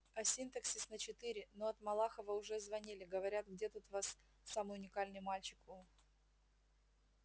а синтаксис на четыре но от малахова уже звонили говорят где тут у вас тот самый уникальный мальчик у